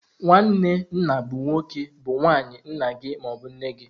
Nwanne nna bụ nwoke bu nwanne nna gị ma ọ bụ nne gị.